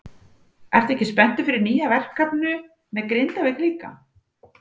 Ertu ekki spenntur fyrir nýju verkefni með Grindavík líka?